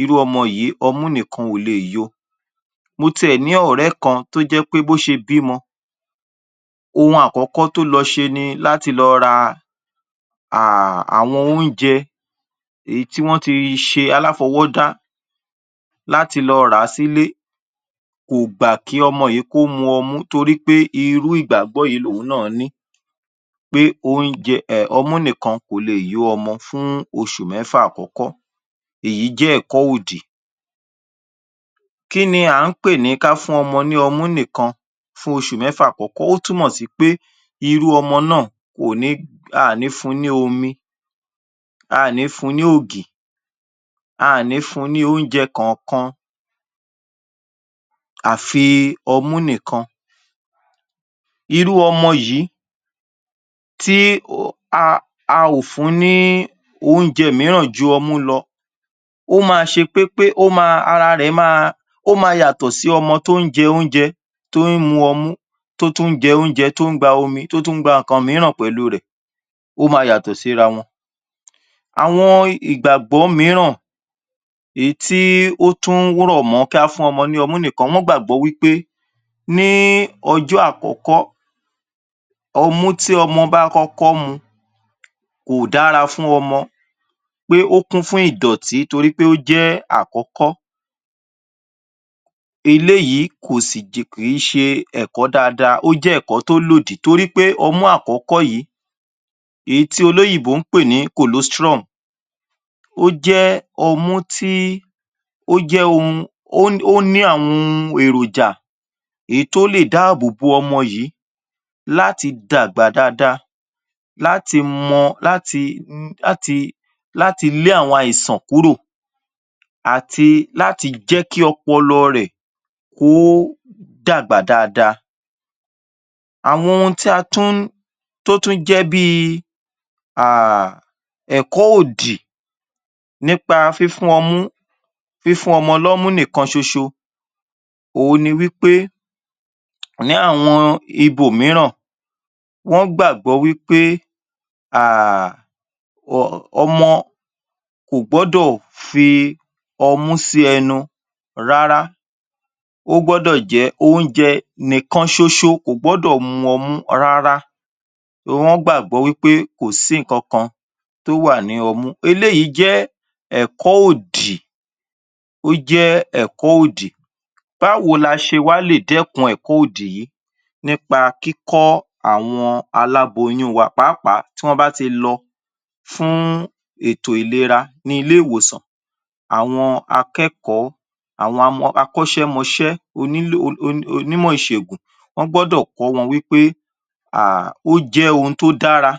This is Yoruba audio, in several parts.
irú ọmọ yìí, ọmú nìkan ò leè yo. Mo tiẹ̀ ní ọ̀rẹ́ kan tó jẹ́ pé bó ṣe bímọ, ohun àkọ́kọ́ tó lọ ṣe ni láti lọ ra um àwọn oúnjẹ èyí tí wọ́n ti ṣe aláfọwọ́dá láti lọ rà á sílé. Kò gbà kí ọmọ yìí kó mu ọmú torí pé irú ìgbàgbọ́ yìí lòun náà ni pé oúnjẹ ọmú nìkan kò leè yó ọmọ fún oṣù mẹ́fà àkọ́kọ́. Èyí jẹ́ ẹ̀kọ́ òdì. Kí ni à ń pè ní ká fún ọmọ ní ọmú nìkan fún oṣù mẹ́fà àkọ́kọ́? Ó túmọ̀ sí pé irú ọmọ náà kò ní a ò ní fun ní omi, a ò ní fun ní ògì, a ò ní fun ní oúnjẹ kọ̀ọ̀kan àfi ọmú nìkan. Irú ọmọ yìí tí um a ò fún ní oúnjẹ mìíràn ju ọmú lọ, ó máa ṣe pépé, um ara rẹ̀ máa, ó máa yàtọ̀ sí ọmọ tó ń jẹ oúnjẹ, tó ń mu ọmú, tó tún jẹ oúnjẹ, tó ń gba omi, tó tún ń gba nǹkan mìíràn pẹ̀lú rẹ̀. Ó ma yàtọ̀ síra wọn. Àwọn ìgbàgbọ́ mìíràn èyí tí ó tún rọ̀ mọ́ ká fún ọmọ ní ọmú nìkan, wọ́n gbàgbọ́ wí pé ní ọjọ́ àkọ́kọ́ ọmú tí ọmọ bá kọ́kọ́ mu kò dára fún ọmọ, pé ó kún fún ìdọ̀tí torí pé ó jẹ́ àkọ́kọ́. Eléyìí um kì í ṣe ẹ̀kọ́ dada. Ó jẹ́ ẹ̀kọ́ tó lòdì torí pé ọmú àkọ́kọ́ yìí, èyí tí olóyìnbó ń pè ní colostrum ó jẹ́ ọmú tí um ó ní àwọn ohun èròjà èyí tó lè dáàbò bo ọmọ yìí láti dàgbà dada, láti mọ um láti lé àwọn àìsàn kúrò àti láti jẹ́ kí ọpọlọ rẹ̀ kó dàgbà dada. Àwọn ohun tí a tún um tó tún jẹ́ bíi um ẹ̀kọ́ òdì nípa fífún ọmú fífún ọmọ lọ́mú nìkan ṣoṣo òhun ni wí pé ní àwọn ibòmíràn, wọ́n gbàgbọ́ wí pé um ọmọ kò gbọ́dọ̀ fi ọmú sí ẹnu rárá. Ó gbọ́dọ̀ jẹ́ oúnjẹ nìkan ṣoṣo kò gbọ́dọ̀ mu ọmú rárá. Wọ́n gbàgbọ́ wí pé kò sí nǹkan kan tó wà ní ọmú. Eléyìí jẹ́ ẹ̀kọ́ òdì, ó jẹ́ ẹ̀kọ́ òdì. Báwo la ṣe wá lè dẹ́kun ẹ̀kọ́ òdì yìí? Nípa kíkọ́ àwọn aláboyún wa pàápàá tí wọ́n bá ti lọ fún ètò ìlera ní ilé-ìwòsàn. Àwọn akẹ́kọ̀ọ́, àwọn um akọ́ṣẹ́mọṣẹ́ um onímọ̀ ìṣègùn wọ́n gbọ́dọ̀ kọ́ wọn wí pé ó jẹ́ ohun tó dára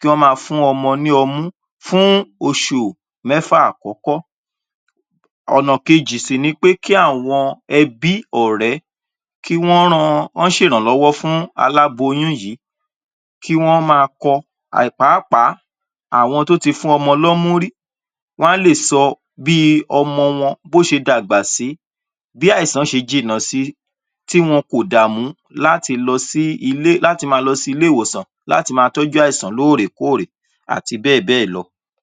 kí wọ́n máa fún ọmọ ní ọmú fún oṣù mẹ́fà àkọ́kọ́. Ọ̀nà kejì sì ni pé kí àwọn ẹbí, ọ̀rẹ́ kí wọ́n ran, kọ́n ṣèrànlọ́wọ́ fún aláboyún yìí kí wọ́n máa kọ um pàápàá àwọn tó ti fún ọmọ lọ́mú rí, wọ́n á lè sọ bí ọmọ wọn bó ṣe dàgbà sí, bí àìsàn ṣe jìnnà si tí wọn kò dààmù láti lọ sí ilé, láti ma lọ sí ilé-ìwòsàn láti ma tọ́jú àìsàn lóòrèkóòrè àti bẹ́ẹ̀ bẹ́ẹ̀ lọ.